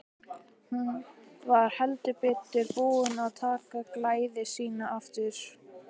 Hún var heldur betur búin að taka gleði sína aftur.